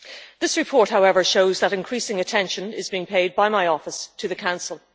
This report, however, shows that increasing attention is being paid by my office to the Council.